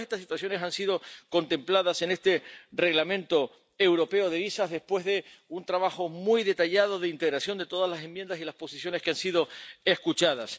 Y todas estas situaciones han sido contempladas en este Reglamento europeo sobre visados después de un trabajo muy detallado de integración de todas las enmiendas y las posiciones que han sido escuchadas.